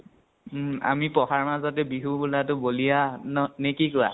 উম আমি পঢ়াৰ মাজতে বিহু বুলাতো বলিয়া ন নে কি কোৱা?